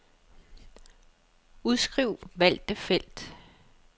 Udskriv valgte felt.